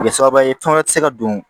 Kɛ sababu ye tɔn wɛrɛ tɛ se ka don